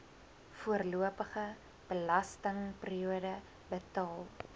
voorlopige belastingperiode betaal